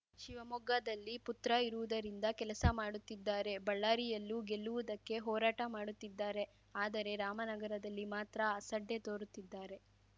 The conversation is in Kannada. ಶಿವಮೊಗ್ಗದಲ್ಲಿ ಪುತ್ರ ಇರುವುದರಿಂದ ಕೆಲಸ ಮಾಡುತ್ತಿದ್ದಾರೆ ಬಳ್ಳಾರಿಯಲ್ಲೂ ಗೆಲ್ಲುವುದಕ್ಕೆ ಹೋರಾಟ ಮಾಡುತ್ತಿದ್ದಾರೆ ಆದರೆ ರಾಮನಗರದಲ್ಲಿ ಮಾತ್ರ ಅಸಡ್ಡೆ ತೋರುತ್ತಿದ್ದಾರೆ